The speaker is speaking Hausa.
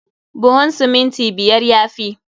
Buhun siminti biyar ya fi.